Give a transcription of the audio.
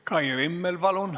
Kai Rimmel, palun!